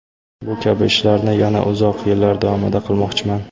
Bu kabi ishlarni yana uzoq yillar davomida qilmoqchiman.